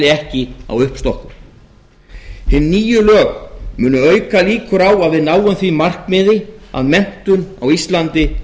ekki á uppstokkun hin nýju lög munu auka líkur á að við náum því markmiði að menntun á íslandi